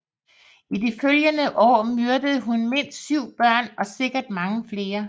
I de følgende år myrdede hun mindst syv børn og sikkert mange flere